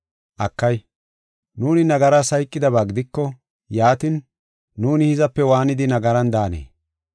Akay, nuuni nagaras hayqidaba gidiko, yaatin, nuuni hizape waanidi nagaran daanee?